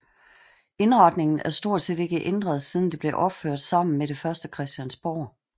Indretningen er stort set ikke ændret siden det blev opført sammen med det første Christiansborg